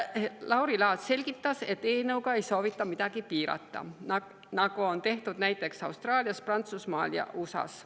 Lauri Laats selgitas, et eelnõuga ei soovita midagi piirata, nagu on tehtud näiteks Austraalias, Prantsusmaal ja USA‑s.